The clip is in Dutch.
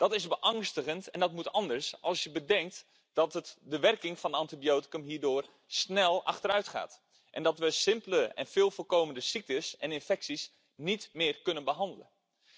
Dat is beangstigend en dat moet anders als je bedenkt dat de werking van het antibioticum hierdoor snel achteruit gaat en dat wij simpele en veel voorkomende ziektes en infecties niet meer kunnen behandelen.